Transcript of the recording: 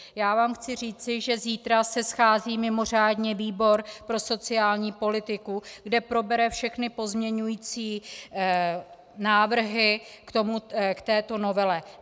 Já vám chci říci, že zítra se schází mimořádně výbor pro sociální politiku, kde probere všechny pozměňovací návrhy k této novele.